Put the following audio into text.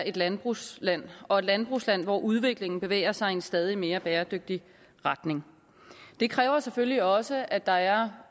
et landbrugsland og et landbrugsland hvor udviklingen bevæger sig i en stadig mere bæredygtig retning det kræver selvfølgelig også at der